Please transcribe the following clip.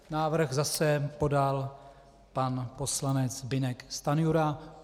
Návrh zase podal pan poslanec Zbyněk Stanjura.